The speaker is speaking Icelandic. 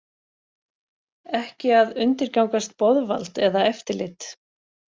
Ekki að undirgangast boðvald eða eftirlit